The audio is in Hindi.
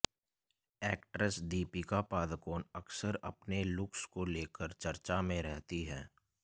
एक्ट्रेस दीपिका पादुकोण अक्सर अपने लुक्स को लेकर चर्चा में रहती हैं